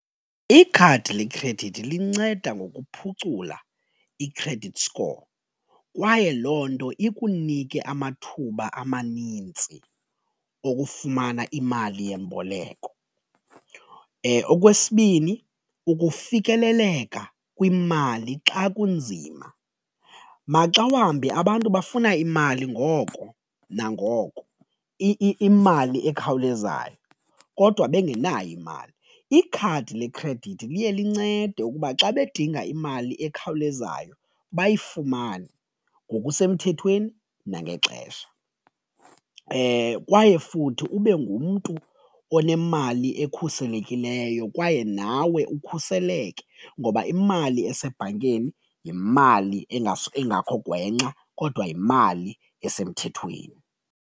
Ikhadi lekhredithi linceda ngokuphucula i-credit score kwaye loo nto ikunike amathuba amanintsi okufumana imali yemboleko. Okwesibini ukufikeleleka kwimali xa kunzima maxa wambi abantu bafuna imali ngoko nangoko imali ekhawulezayo kodwa bengenayo imali, ikhadi lekhredithi liye lincede ukuba xa bedinga imali ekhawulezayo bayifumane ngokusemthethweni nangexesha. Kwaye futhi ube ngumntu onemali ekhuselekileyo kwaye nawe ukhuseleke ngoba imali esebhankeni yimali engakho gwenxa kodwa yimali esemthethweni.